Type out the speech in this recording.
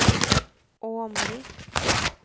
Åmli